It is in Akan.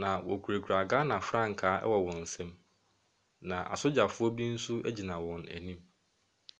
na wɔkurakura Ghana frankaa wɔ wɔn nsam, na asogyafoɔ bi nso gyina wɔn anim.